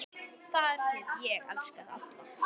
Þar get ég elskað alla.